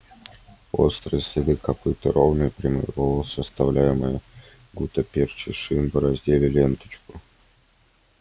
острые следы копыт и ровные прямые полосы оставляемые гуттаперчей шин бороздили ленточку